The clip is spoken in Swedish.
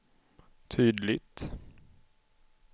tydligt